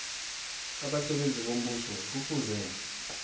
abasebenzi bombuso kufuze